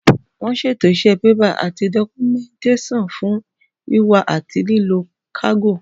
Wọ́n ṣètò iṣẹ́ bébà àti dọ́kúmẹ́ǹtẹ́sàn fún wíwá àti lílọ kágò